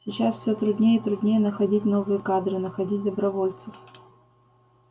сейчас все труднее и труднее находить новые кадры находить добровольцев